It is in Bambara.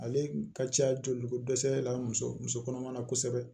Ale ka ca joli ko dɛsɛ la muso muso kɔnɔma na kosɛbɛ